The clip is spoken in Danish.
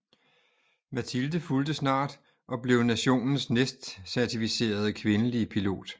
Matilde fulgte snart og blev nationens næstcertificerede kvindelige pilot